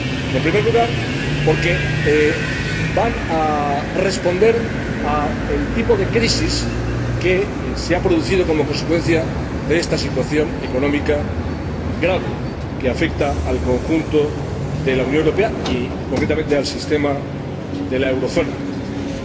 En primer lugar, porque van a responder al tipo de crisis que se ha producido como consecuencia de esta situación económica grave que afecta al conjunto de la Unión Europea y, concretamente, al sistema de la zona del euro.